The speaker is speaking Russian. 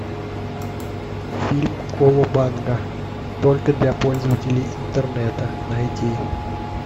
фильм колобанга только для пользователей интернета найди